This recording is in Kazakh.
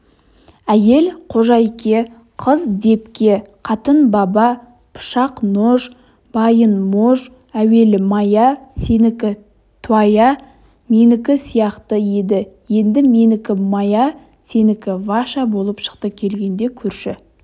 әйел қожайке қыз депке қатын баба пышақ нож байын мож әуелі моя сенікі туая менікі сияқты еді енді менікі моя сенікі ваша болып шықты келгенде көрші